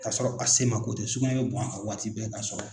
Kasɔrɔ a semako tɛ sugunɛ bɛ bɔ a ka waati bɛɛ kasɔrɔ